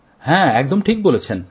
হ্যাঁ একদম ঠিক বলেছেন